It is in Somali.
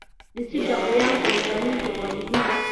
Dhisida qiyamka hogaaminta waa muhiim.